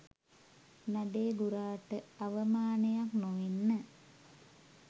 නඩේ ගුරාට අවමානයක් නොවෙන්න